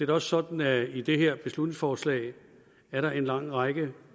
da også sådan at i det her beslutningsforslag er der en lang række